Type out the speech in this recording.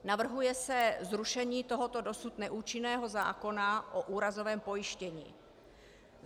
Navrhuje se zrušení tohoto dosud neúčinného zákona o úrazovém pojištění.